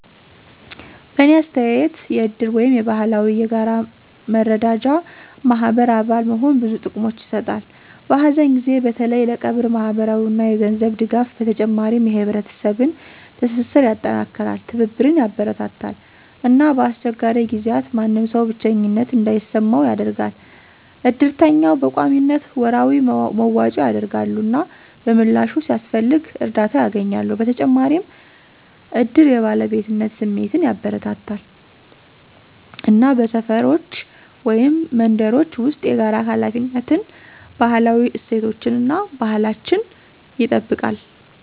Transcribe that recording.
በእኔ አስተያየት የእድር ወይም የባህላዊ የጋራ መረዳጃ ማህበር አባል መሆን ብዙ ጥቅሞችን ይሰጣል። በሀዘን ጊዜ በተለይ ለቀብር ማህበራዊ እና የገንዘብ ድጋፍ በተጨማሪም የህብረተሰብን ትስስር ያጠናክራል፣ ትብብርን ያበረታታል እና በአስቸጋሪ ጊዜያት ማንም ሰው ብቸኝነት እንዳይሰማው ያደርጋል። እድርተኛው በቆሚነት ወራዊ መዋጮ ያደርጋሉ፣ እና በምላሹ፣ ሲያስፈልግ እርዳታ ያገኛሉ። በተጨማሪም እድር የባለቤትነት ስሜትን ያበረታታል እና በሰፈሮች ወይም መንደሮች ውስጥ የጋራ ሃላፊነትን፣ ባህላዊ እሴቶቻችን እና ባህላችን ይጠብቅልነል።